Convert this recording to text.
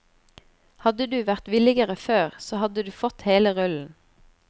Hadde du vært villigere før, så hadde du fått hele rullen.